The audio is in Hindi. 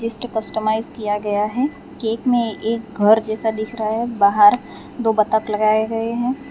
कस्टमाइज्ड किया गया है केक में एक घर जैसा दिख रहा है बाहर दो बतख लगाए गए हैं।